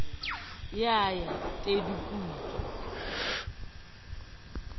eo ya tedu di putswa